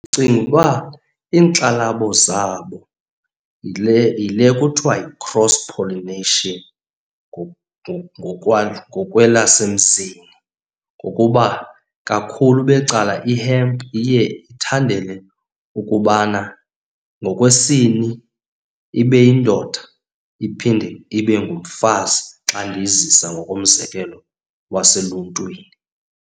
Ndicinga uba iinkxalabo zabo yile, yile kuthiwa yi-cross pollination ngokwelasemzini. Ngokuba kakhulu becala i-hemp iye ithandele ukubana ngokwesini ibe yindoda, iphinde ibe ngumfazi xa ndiyizisa ngokomzekelo lwaseluntwini.